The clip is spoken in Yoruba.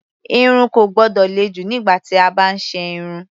Irun kò gbọ́dọ̀ le jù nígbà tí a bá ń ṣe irun.